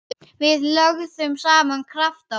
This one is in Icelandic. Við lögðum saman krafta okkar.